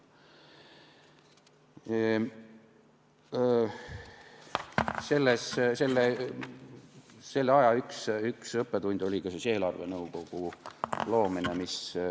Selle aja üks õppetunde oli ka eelarvenõukogu loomine.